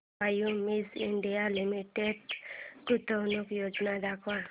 Cummins India limited गुंतवणूक योजना दाखव